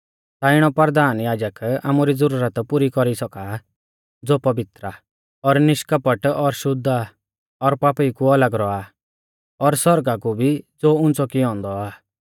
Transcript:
ता इणौ परधान याजक आमारी ज़ुरत पुरी कौरी सौका आ ज़ो पवित्र आ और निष्कपट और शुद्ध आ और पापीऊ कु अलग रौआ और सौरगा कु भी ज़ो उंच़ौ कियौ औन्दौ आ